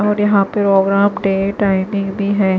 और यहां पे ओग्राम डेट टाइमिंग भी है।